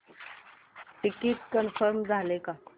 ticket confirm झाले का